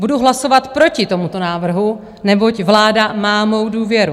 Budu hlasovat proti tomuto návrhu, neboť vláda má mou důvěru.